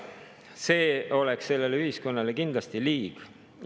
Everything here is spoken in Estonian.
See oleks sellele ühiskonnale kindlasti liig.